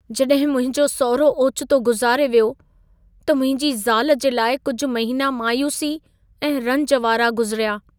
जॾहिं मुंहिंजो सहुरो ओचितो गुज़ारे वियो, त मुंहिंजी ज़ाल जे लाइ कुझु महिना मायूसी ऐं रंज वारा गुज़िरिया।